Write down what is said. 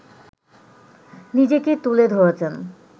নিজেকে তুলে ধরেছেন